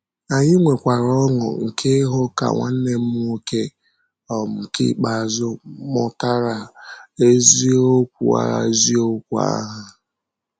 Anyị nwekwara ọṅụ nke ịhụ ka nwanne m nwoke um nke ikpeazụ mụtara eziokwu eziokwu ahụ.